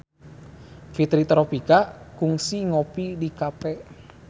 Fitri Tropika kungsi ngopi di cafe